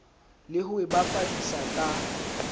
le ho e bapadisa ka